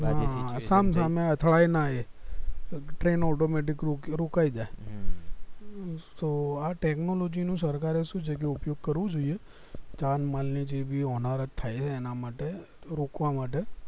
અથડાય ના train automatic પર મુકાય જાય સો આ technology નું સરકાર એ શું છે એટલે ઉપયોગ કરવું જોઈએ જન માલ જે ભી હોનારત થાય છે એના માટે રોકવા માટે